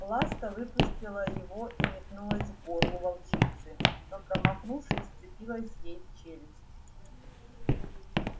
ласка выпустила его и метнулась к горлу волчицы но промахнувшись вцепилась ей в челюсть